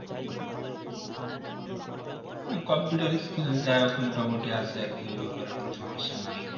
computer skill যা হোক মোটামুটি আছে আর কি এই ব্যাপারে সমস্যা নেই